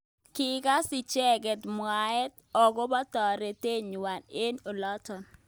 Kikas icheket mwaet akobo toretet nywa ing olotok.